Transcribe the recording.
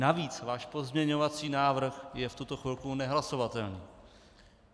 Navíc váš pozměňovací návrh je v tuto chvíli nehlasovatelný.